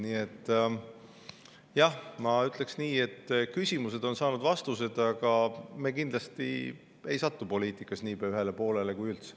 Nii et jah, ma ütleksin, et küsimused on saanud vastused, aga me kindlasti ei satu poliitikas niipea ühele poolele, kui üldse.